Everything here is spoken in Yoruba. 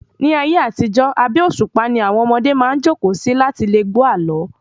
Ní ayé àtijó, abé òṣùpá ni àwọn ọmọdé maá jókòó si láti lẹ gbọ́ àlọ́